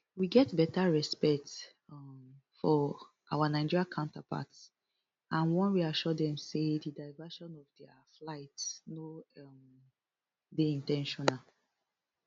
we get beta respect um for our nigerian counterparts and wan reassure dem say di diversion of dia flight no um dey in ten tional